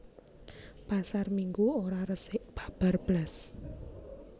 Pasar Minggu ora resik babar blas